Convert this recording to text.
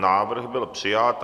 Návrh byl přijat.